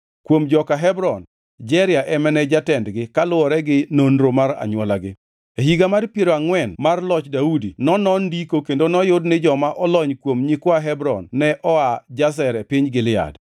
Kuom joka Hebron, Jeria ema ne jatendgi kaluwore gi nonro mar anywolagi. E higa mar piero angʼwen mar loch Daudi nonon ndiko kendo noyud ni joma olony kuom nyikwa Hebron ne oa Jazer e piny Gilead.